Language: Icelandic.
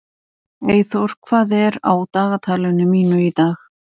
Eyþór, hvað er á dagatalinu mínu í dag?